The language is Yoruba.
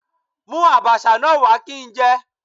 Mú Àbàṣà náà wá kí n jẹ.